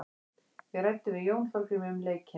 Við ræddum við Jón Þorgrím um leikinn.